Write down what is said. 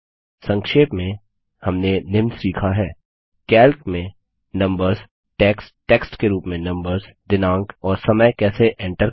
संक्षेप में हमने निम्न सीखा हैः कैल्क में नम्बर्स टेक्स्ट टेक्स्ट के रूप में नम्बर्स दिनांक और समय कैसे एन्टर करें